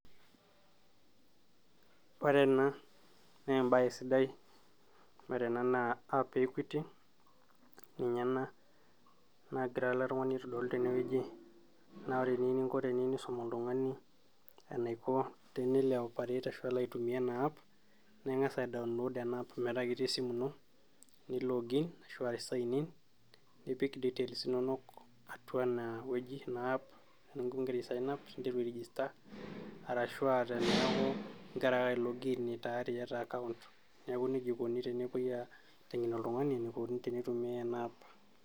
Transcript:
Ore ena naa embaye sidai, ore ena naa app e equity ninye ena nagira ele tung'ani aitodolu tenewueji naa ore eniyieu ninko teniyieu nisum oltung'ani enaiko tenelo ae operate ashu elo aitumia ena app naa ing'as ae download ena app metaa ketii esimu ino, ni login ashu aa sign in nipik details inonok atua enewueji ena app teneeku ingira ae sign up ninteru ae register arashu aa teneeku ingira ake ae log in tayari iyata account neeku nejia ikoni tenepuoi aiteng'en oltung'ani enikoni tenitumiay ena app.